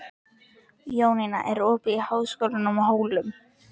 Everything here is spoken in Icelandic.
Jónína, er opið í Háskólanum á Hólum?